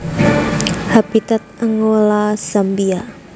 Habitat Angola Zambia